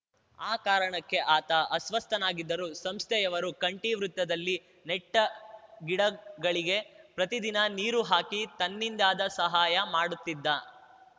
ಆ ಕಾರಣಕ್ಕೆ ಆತ ಅಸ್ವಸ್ಥನಾಗಿದ್ದರೂ ಸಂಸ್ಥೆಯವರು ಕಂಠಿ ವೃತ್ತದಲ್ಲಿ ನೆಟ್ಟಗಿಡಗಳಿಗೆ ಪ್ರತಿದಿನ ನೀರು ಹಾಕಿ ತನ್ನಿಂದಾದ ಸಹಾಯ ಮಾಡುತ್ತಿದ್ದ